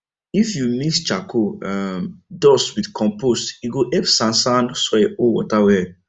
if you mix charcoal um dust with compost e go help sandsand soil hold water well